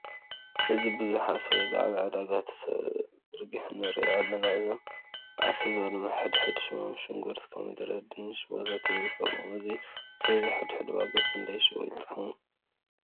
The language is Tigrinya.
እዚ ቡዙሕ ኣስቤዛ ኣብ ዕዳጋ ተዘርጉሑ ንሪኦ ኣለና። እዞም ኣስቤዛ ድማ ሕድሕድ ሽሞም ሽጉርቲ፣ ኮሚደረ፣ ድኑሽ ወዘተ ይርከብዎም። እዚ ኣስበዛ ሕድሕዱ ዋጋ ክንዳይ ይሽየጥ ይኮውን?